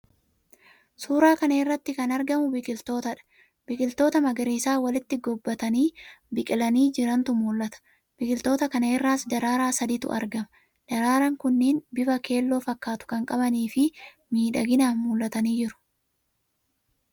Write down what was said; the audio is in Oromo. Suuraa kana irratti kan argamu biqilootadha. Biqiltoota magariisa walitti gobbatanii biqilanii jirantu mul'ata. Biqiloota kana irraas daraaraa sadiitu argama. Daraaraan kunneen bifa keelloo fakkaatu kan qabanii fi miidhaganii mul'atanii jiru.